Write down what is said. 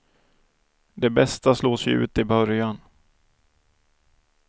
De bästa slås ju ut i början.